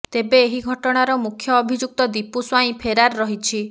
ତେବେ ଏହି ଘଟଣାର ମୁଖ୍ୟ ଅଭିଯୁକ୍ତ ଦୀପୁ ସ୍ୱାଇଁ ଫେରାର ରହିଛି